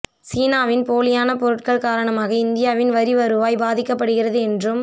சீனாவின் போலியான பொருட்கள் காரணமாக இந்தியாவின் வரி வருவாய் பாதிக்கப்படுகிறது என்றும்